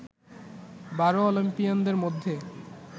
বারো অলিম্পিয়ানদের মধ্যে